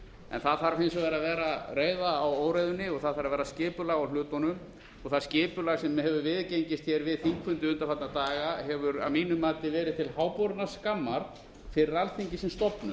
en það þarf hins vegar að vera reiða á óreiðunni og það þarf að vera skipulag á hlutunum og það skipulag sem hefur viðgengist við þingfundi undanfarna daga hefur að mínu mati verið til háborinnar skammar fyrir alþingi sem stofnun